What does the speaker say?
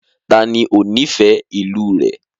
Taàní ó nifẹ ìlú rẹ?